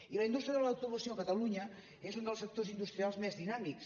i la indústria de l’automoció a catalunya és un dels sectors industrials més dinàmics